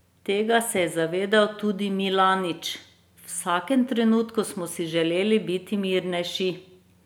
Tega se je zavedal tudi Milanič: "V vsakem trenutku smo si želeli biti mirnejši.